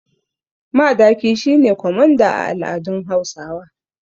Madaki shi ne kwamanda a al’adun Hausawa.